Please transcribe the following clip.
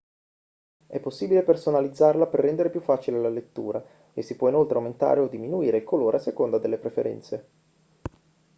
è possibile personalizzarla per rendere più facile la lettura e si può inoltre aumentare o diminuire il colore a seconda delle preferenze